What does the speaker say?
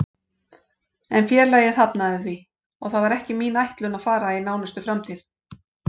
En félagið hafnaði því og það var ekki mín ætlun að fara í nánustu framtíð.